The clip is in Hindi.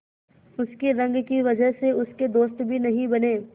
उसकी रंग की वजह से उसके दोस्त भी नहीं बने